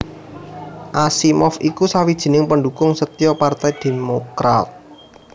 Asimov iku sawijining pendhukung setya Partai Demokrat